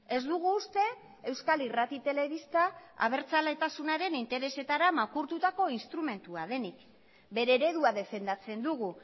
ez dugu uste euskal irrati telebista abertzaletasunaren interesetara makurtutako instrumentua denik bere eredua defendatzen dugu